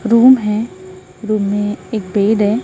Room हैं room में एक बेड है।